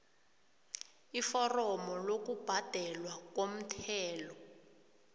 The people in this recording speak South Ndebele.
iforomo lokubhadelwa komthelo